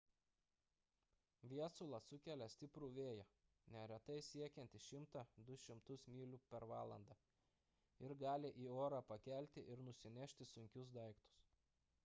viesulas sukelia stiprų vėją neretai siekiantį 100–200 mylių per valandą ir gali į orą pakelti ir nusinešti sunkius daiktus